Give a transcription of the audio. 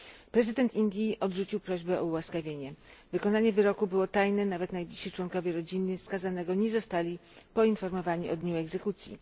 Prezydent Indii odrzucił prośbę o ułaskawienie. Wykonanie wyroku było tajne, nawet najbliżsi członkowie rodziny skazanego nie zostali poinformowani o dniu egzekucji.